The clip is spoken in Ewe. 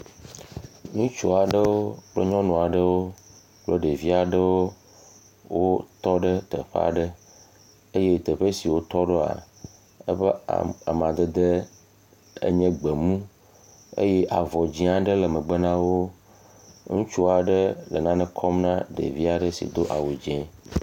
Ŋutsua ɖewo kple nyɔnua ɖewo kple ɖevioa ɖewo wotɔ ɖe teƒa ɖe eye teƒe siwo wotɔ ɖo eƒe amadede enye gbemu eye avɔ dzi aɖe le megbe na wo. Ŋutsu aɖe le nane kɔm na ɖevia aɖe si do awu dzi.